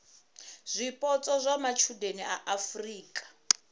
zwipotso zwa matshudeni a afurika